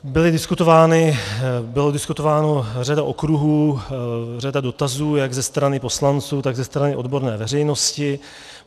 Byla diskutována řada okruhů, řada dotazů jak ze strany poslanců, tak ze strany odborné veřejnosti.